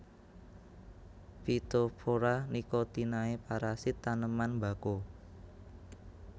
Phytopthora nicotinae parasit taneman mbako